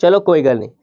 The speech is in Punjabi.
ਚਲੋ ਕੋਈ ਗੱਲ ਨੀ।